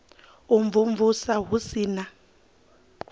u imvumvusa hu si na